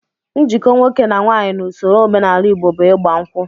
Njikọ nwoke na nwaanyị n'ụsọro omenala Igbo bụ ịgba nkwụ